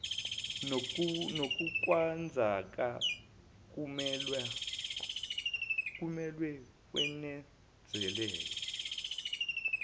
kunokwenzeka kumelwe kwenezelwe